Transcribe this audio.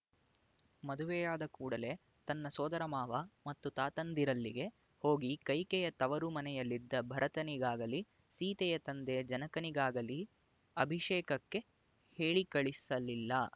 ಮದುವೆಯಾದ ಕೂಡಲೆ ತನ್ನ ಸೋದರಮಾವ ಮತ್ತು ತಾತಂದಿರಲ್ಲಿಗೆ ಹೋಗಿ ಕೈಕೆಯ ತವರು ಮನೆಯಲ್ಲಿದ್ದ ಭರತನಿಗಾಗಲಿ ಸೀತೆಯ ತಂದೆ ಜನಕನಿಗಾಗಲಿ ಅಭಿಷೇಕಕ್ಕೆ ಹೇಳಿಕಳಿಸಲಿಲ್ಲ